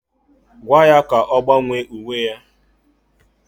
Gwaa ya ka ọ gbanwee uwe ya!